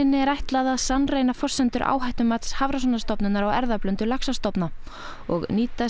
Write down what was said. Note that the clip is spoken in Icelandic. er ætlað að sannreyna forsendur áhættumats Hafrannsóknastofnunar á erfðablöndun laxastofna og